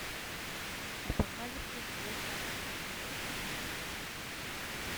апокалипсис в лос анджелесе